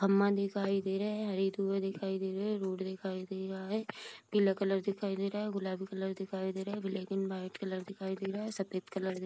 अम्मा दिखाई दे रहा है दिखाई दे रहे हैं रोड दिखाई दे रहा है पीला कलर दिखाई दे रहा है गुलाबी कलर दिखाई दे रहा है ब्लैक एंड वाइट कलर दिखाई दे रहा है सफ़ेद कलर --